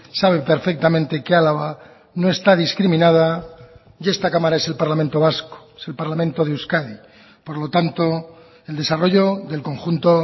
sabe perfectamente que álava no está discriminada y esta cámara es el parlamento vasco es el parlamento de euskadi por lo tanto el desarrollo del conjunto